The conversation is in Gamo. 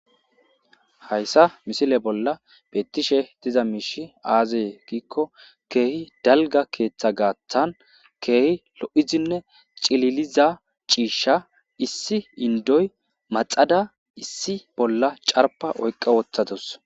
hayssa misile bolla beettishe diza miishi aazee giikko keehi dalga keeththa gaaththan keehi lo7izanne cililiza ciisha issi indoy maxada issi bolla carpa oyqqa wothatos